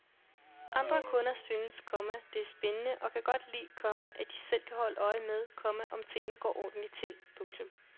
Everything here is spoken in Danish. Andre kunder synes, komma det er spændende og kan godt lide, komma at de selv kan holde øje med, komma om tingene går ordentligt til. punktum